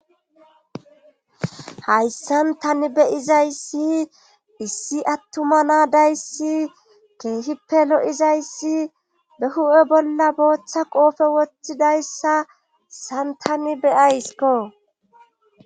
hayssan tani beyizayssi issi attuma naadayssi keehippe lo7izayssi be hu7e bolla booththa qoofe woththidayssa san tani beyaysko